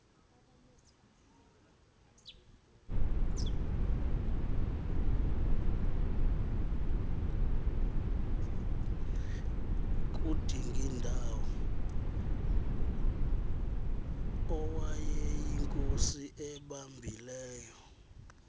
kudingindawo owayeyinkosi ebambileyo